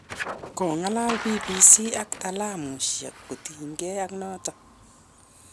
kongalali BBC ak taalamuisiek kotinygei ak notok.